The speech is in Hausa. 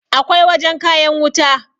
akwai wajen kayan wuta